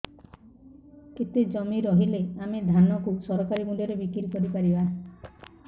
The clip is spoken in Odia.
କେତେ ଜମି ରହିଲେ ଆମେ ଧାନ କୁ ସରକାରୀ ମୂଲ୍ଯରେ ବିକ୍ରି କରିପାରିବା